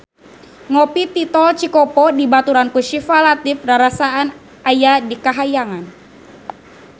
Ngopi di Tol Cikopo dibaturan ku Syifa Latief rarasaan aya di kahyangan